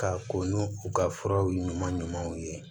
Ka ko n'u u ka furaw ye ɲuman ɲumanw ye